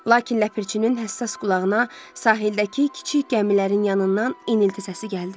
Lakin Ləpirçinin həssas qulağına sahildəki kiçik gəmilərin yanından enilti səsi gəldi.